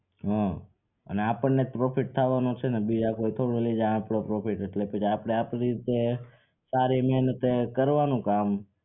હા અને અપણને જ profile થવાનું છે ને બીજા કોઈ થોડું લઈ જાય આપડો profit એટલે પછી આપડે આપડી જે સારી ને અને તે કરવાનું કામ